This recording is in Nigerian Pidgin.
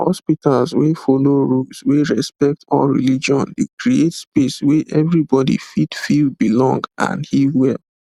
hospitals wey follow rules wey respect all religion dey create space wey everybody fit feel belong and heal well